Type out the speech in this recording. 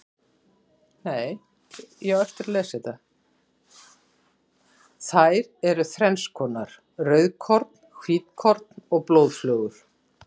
Þær eru þrennskonar, rauðkorn, hvítkorn og blóðflögur.